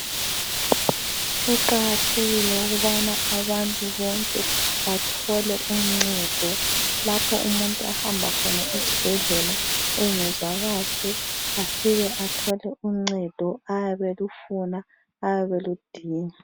Kuqakathekile ubana abantu bonke bathole uncedo lapho umuntu ahamba khona esibhedlela engezwa kahle afike athole uncedo ayabe elufuna , ayabe eludinga.